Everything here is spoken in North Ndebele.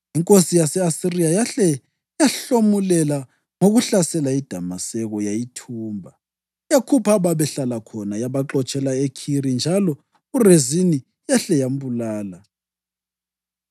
Inkosi yase-Asiriya yahle yamhlomulela ngokuhlasela iDamaseko yayithumba. Yakhupha ababehlala khona yabaxotshela eKhiri njalo uRezini yahle yambulala.